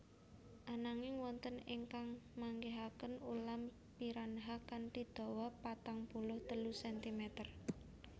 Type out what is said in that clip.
Ananging wonten ingkang manggihaken ulam piranha kanthi dawa patang puluh telu sentimeter